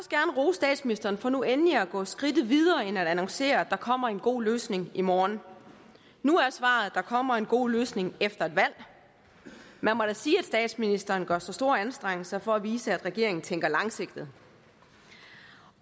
statsministeren for nu endelig at gå skridtet videre end at annoncere at der kommer en god løsning i morgen nu er svaret at der kommer en god løsning efter et valg man må da sige at statsministeren gør sig store anstrengelser for at vise at regeringen tænker langsigtet